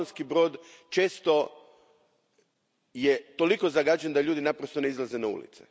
Slavonski je Brod često toliko zagađen da ljudi naprosto ne izlaze na ulicu.